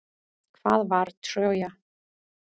Hvað var Trója?